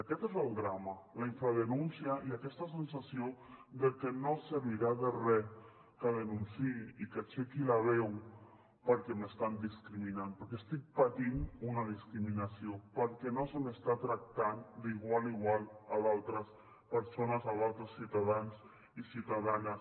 aquest és el drama la infradenúncia i aquesta sensació de que no servirà de res que denunciï i que aixequi la veu perquè m’estan discriminant perquè estic patint una discriminació perquè no se m’està tractant d’igual a igual a d’altres persones a d’altres ciutadans i ciutadanes